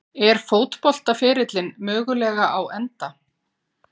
Er fótboltaferillinn mögulega á enda?